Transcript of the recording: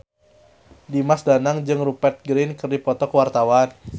Dimas Danang jeung Rupert Grin keur dipoto ku wartawan